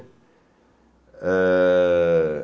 Eh...